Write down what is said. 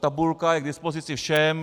Tabulka je k dispozici všem.